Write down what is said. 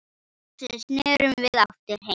Loksins snerum við aftur heim.